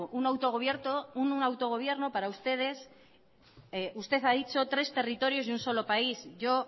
un autogobierno para ustedes usted ha dicho tres territorios y un solo país yo